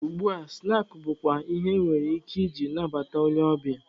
Ugbua, snaakị bụkwa ihe enwere ike ije nabata onye ọbịa.